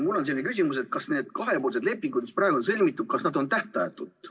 Mul on selline küsimus, et kas need kahepoolsed lepingud, mis praegu on sõlmitud, kas nad on tähtajatud.